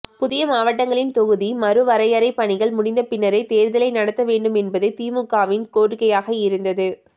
புதிய மாவட்டங்களின் தொகுதி மறு வரையறை பணிகள் முடிந்த பின்னரே தேர்தலை நடத்த வேண்டுமென்பதே திமுகவின் கோரிக்கையாக இருந்தது